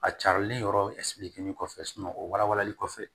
A carilen yɔrɔ kɔfɛ o warali kɔfɛ